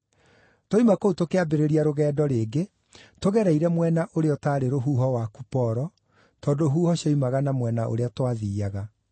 Twoima kũu tũkĩambĩrĩria rũgendo rĩngĩ, tũgereire mwena ũrĩa ũtaarĩ rũhuho wa Kuporo, tondũ huho cioimaga na mwena ũrĩa twathiiaga.